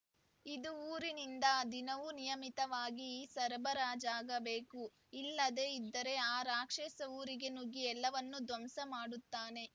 ಇದು ಊರಿನಿಂದ ದಿನವೂ ನಿಯಮಿತವಾಗಿ ಸರಬರಾಜಾಗಬೇಕು ಇಲ್ಲದೇ ಇದ್ದರೆ ಆ ರಾಕ್ಷಸ ಊರಿಗೆ ನುಗ್ಗಿ ಎಲ್ಲವನ್ನೂ ದ್ವಂಸ ಮಾಡುತ್ತಾನೆ